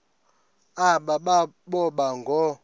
aba boba ngoo